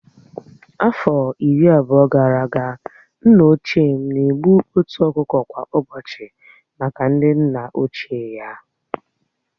Afọ iri abụọ gara aga, nna ochie m na-egbu otu ọkụkọ kwa ụbọchị maka ndị nna ochie ya